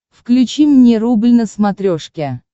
включи мне рубль на смотрешке